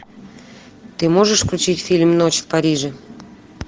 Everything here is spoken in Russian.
ты можешь включить фильм ночь в париже